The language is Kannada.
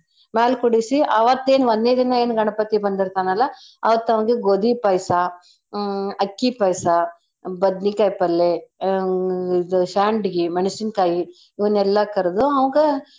ಮ್ಯಾಲ್ ಕೂಡುಸೀ ಅವತ್ತೇನ್ ಒಂದ್ನೇ ದಿನ ಏನ್ ಗಣಪತಿ ಬಂದಿರ್ತಾನಲ್ಲಾ ಅವತ್ತವ್ನ್ಗೆ ಗೋದಿ ಪಾಯ್ಸಾ ಹ್ಮ್ ಅಕ್ಕಿ ಪಾಯ್ಸಾ ಬದ್ನೀಕಾಯ್ ಪಲ್ಲೇ ಆ ಇದು ಶಾಂಡ್ಗೀ ಮೆಣ್ಸಿನ್ಕಾಯಿ ಇವ್ನೆಲ್ಲಾ ಕರ್ದು ಅವ್ಗ.